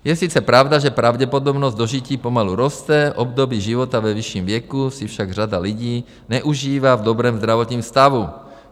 Je sice pravda, že pravděpodobnost dožití pomalu roste, období života ve vyšším věku si však řada lidí neužívá v dobrém zdravotním stavu.